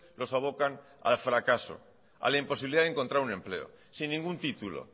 los abocan al fracaso a la imposibilidad de encontrar un empleo sin ningún título